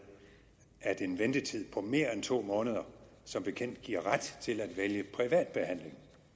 at en ventetid på mere end to måneder som bekendt giver ret til at vælge privat behandling